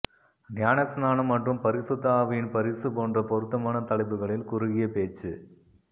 ஞானஸ்நானம் மற்றும் பரிசுத்த ஆவியின் பரிசு போன்ற பொருத்தமான தலைப்புகளில் குறுகிய பேச்சு